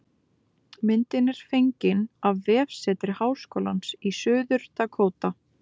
Myndin er fengin á vefsetri Háskólans í Suður-Dakóta